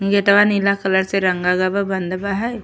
गेटवा नीला कलर से रंगल गए बा। बंद बा है।